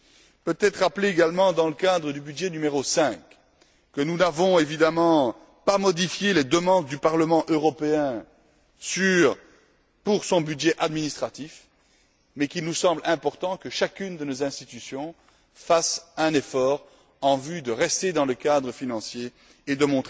Il convient de signaler également, dans le cadre de la rubrique n° 5 que nous n'avons évidemment pas modifié les demandes du Parlement européen concernant son budget administratif, mais qu'il nous semble important que chacune de nos institutions fasse un effort en vue de rester dans le cadre financier